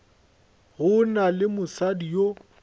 go na le mosadi yo